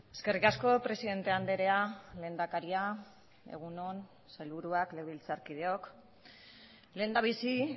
eskerrik asko presidente andrea lehendakaria egun on sailburuak legebiltzarkideok lehendabizi